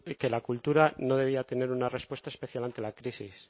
que la cultura no debía tener una respuesta especial ante la crisis